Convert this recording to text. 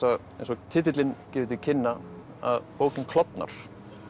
eins og titillinn gefur til kynna að bókin klofnar